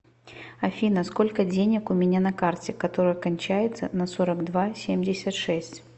афина сколько денег у меня на карте которая кончается на сорок два семьдесят шесть